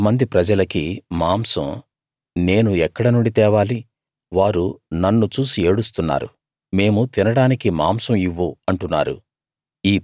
ఇంతమంది ప్రజలకి మాంసం నేను ఎక్కడ నుండి తేవాలి వారు నన్ను చూసి ఏడుస్తున్నారు మేము తినడానికి మాంసం ఇవ్వు అంటున్నారు